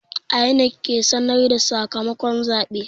INEC ke sanar da sakamakon zabe.